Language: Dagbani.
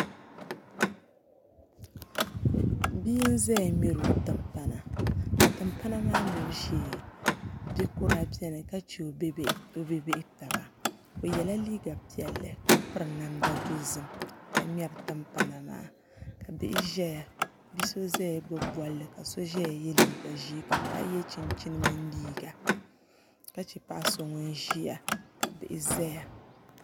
Bia n ʒɛya ŋmɛri o timpana ka timpana maa ŋmɛbu shee ninkura biɛni ka chɛ o bi bihi taba o yɛla liiga piɛlli ka piri namda dozim ka ŋmɛri timpana maa ka bihi ʒɛya bia so ʒɛya gbubi bolli ka so ʒɛya yɛ liigq ʒiɛ ka paɣa yɛ chinchin mini liiga ka chɛ paɣa so ʒiya ka bihi ʒɛya